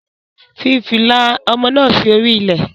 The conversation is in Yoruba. Fi fìlà ọmọ náà sí orí ilẹ̀.